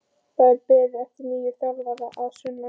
Það er beðið eftir nýjum þjálfara að sunnan.